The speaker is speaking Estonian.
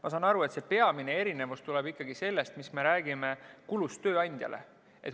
Ma saan aru, et see peamine erinevus tuleb ikkagi tööandja kuludest.